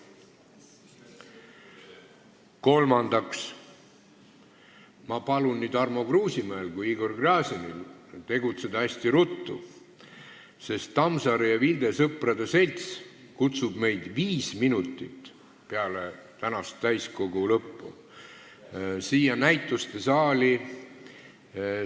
Kolmandaks, ma palun nii Tarmo Kruusimäel kui ka Igor Gräzinil tegutseda hästi ruttu, sest Tammsaare ja Vilde Sõprade Selts kutsub meid täna meie näitustesaali seoses "Tõe ja õiguse" I köite uuesti väljaandmisega.